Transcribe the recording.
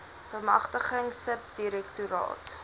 bemagtiging sub direktoraat